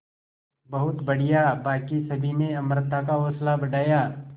बहुत बढ़िया बाकी सभी ने अमृता का हौसला बढ़ाया